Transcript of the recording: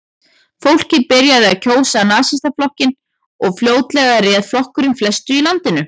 Fólkið byrjaði að kjósa Nasistaflokkinn og fljótlega réð flokkurinn flestu í landinu.